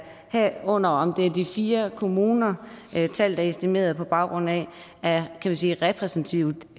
herunder om de fire kommuner tallet er estimeret på baggrund af er repræsentativt